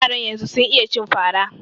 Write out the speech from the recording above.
Yaran yanzu sun iya cin fara